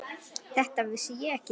Þetta vissi ég ekki.